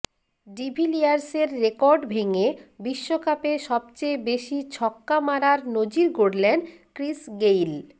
ডিভিলিয়ার্সের record ভেঙে বিশ্বকাপে সবচেয়ে বেশি ছক্কা মারার নজির গড়লেন ক্রিস গেইল